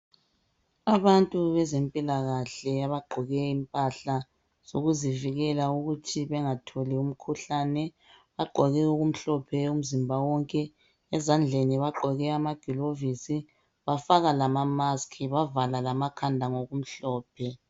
Abantu bezempilakahle abagqoke impahla zokuzivikela ukuthi bengatholi umkhuhlane bagqoke okumhlophe umzimba wonke ezandleni bagqoke amagilovisi bafaka lama mask bavala amakhanda ngokumhlophe.